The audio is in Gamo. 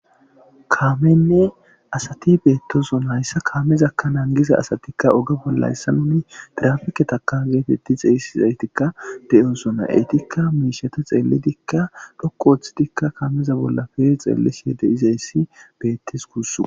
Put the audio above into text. kaamenne asati beettosona hayssa kaamezakka naangiza asatikka oge bolla hayssa nuni tirafike taka geetetti xeeyssizaytikka de'osuna eytikka miishata xeelidikka dhokko ooththidikka kaameza bolla kehi xeellise de'izayssi beettes kuss